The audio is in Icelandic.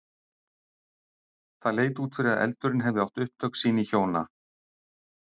Það leit út fyrir að eldurinn hefði átt upptök sín í hjóna